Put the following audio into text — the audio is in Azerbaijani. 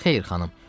Xeyr, xanım.